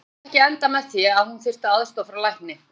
Það gat endað með því að hún þyrfti aðstoð frá lækni.